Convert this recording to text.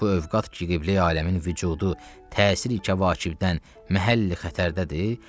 Bu övqad qibləyi aləmin vücudu təsir ikə kəvakibdən məhəlli xətərdədir.